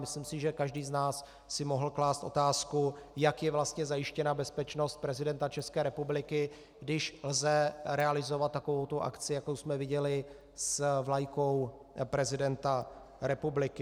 Myslím si, že každý z nás si mohl klást otázku, jak je vlastně zajištěna bezpečnost prezidenta České republiky, když lze realizovat takovouto akci, jakou jsme viděli s vlajkou prezidenta republiky.